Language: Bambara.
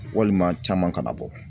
Walima caman kana bɔ